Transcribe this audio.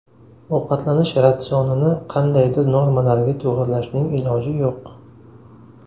Ovqatlanish ratsionini qandaydir normalarga to‘g‘irlashning iloji yo‘q.